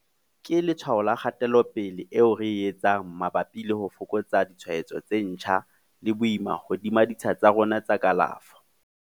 Ke letshwao la kgatelopele eo re e etsang mabapi le ho fokotsa ditshwaetso tse ntjha le boima hodima ditsha tsa rona tsa kalafo.